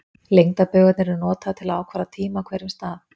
Lengdarbaugarnir eru notaðar til að ákvarða tíma á hverjum stað.